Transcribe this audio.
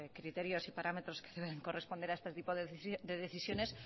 criterios y parámetros que deben corresponder a este tipo de decisiones